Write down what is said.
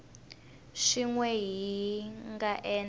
swin we hi nga endla